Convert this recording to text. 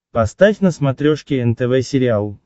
поставь на смотрешке нтв сериал